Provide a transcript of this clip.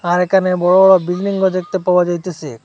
আর এখানে বড় বড় বিল্ডিংও দেখতে পাওয়া যাইতেছে।